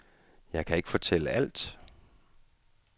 Jeg kan ikke fortælle alt.